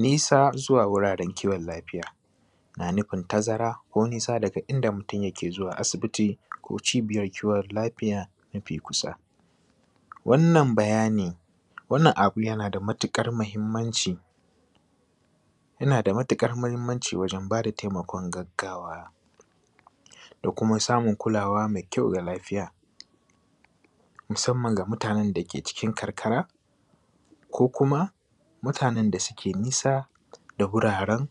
Nisa zuwa wuraren kiwon lafiya, na nufin tazara ko nisa daga inda mutum yake zuwa asibiti ko Cibiyar kiwon lafiya mafi kusa. Wannan bayani, wannan abu yana da matuƙar muhimmanci, yana da matuƙar muhimmanci wajen ba da taimakon gaggawa, da kuma samun kulawa mai kyau ga lafiya, musamman ga mutanen da suke cikin karkara, ko kuma, mutanen da suke nisa da wurin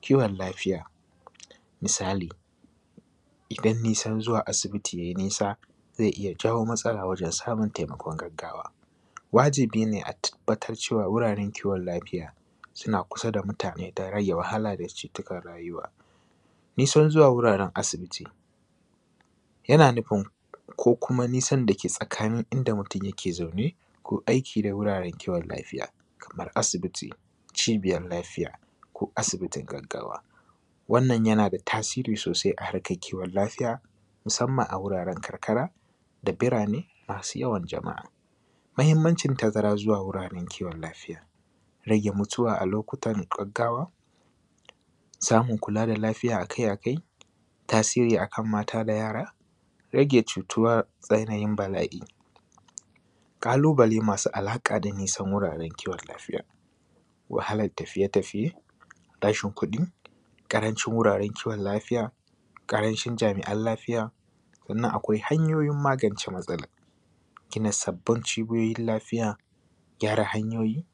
kiwon lafiya. Misali, idan nisan zuwa asibiti yai nisa, zai iya jawo matsala wajen samun taimakon gaggawa. Wajibi ne a tabbata cewa wuraren kiwon lafiya, suna kusa da mutane don rage wahala da cutukan rayuwa. Nisan zuwa wuraren asibiti, yana nufin, ko kuma nisan da ke tsakanin inda mutum yake zaune, ko aiki da wuraren kiwon lafiya, kamar asibiti, Cibiyar Lafiya, ko asibitin gaggawa. Wannan yana da tasiri sosai a harkar kiwon lafiya, musamman a wuraren karkara, da birane masu yawan jama’a. Muhimmancin tazara zuwa wuraren kiwon lafiya, rage mutuwa a lokutan gaggawa, samun kula da lafiya a kai a kai, tasiri a kan mata da yara, rage cutuwa tsananin bala’i. ƙalubale masu alaƙa da nisan wuraren kiwon lafiya. Wahalar tafiye-tafiye; rashin kuɗi; ƙarancin wuraren kiwon lafiya; ƙarancin jami’an lafiya. Sannan akwai hanyoyin magance matsalan. Gina sabbin Cibiyoyin Lafiya; gyara hanyoyi;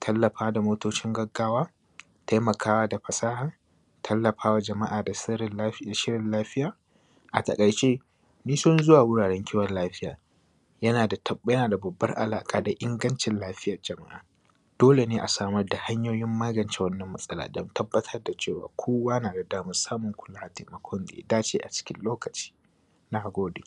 tallafawa da motocin gaggawa; taimakawa da fasaha; tallafa wa jama’a da shirin lafiya. A taƙaice, nisan zuwa wuraren kiwon lafiya, yana da tab, babbar alaƙa da ingancin lafiyar jama’a. Dole ne a samar da hanyoyin magance wannan matsala don tabbatar da cewa kowa na da damar kula da taimakon da ya dace a cikin lokaci. Na gode.